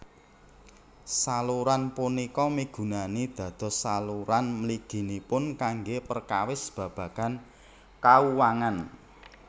Saluran punika migunani dados saluran mliginipun kanggé perkawis babagan kauwangan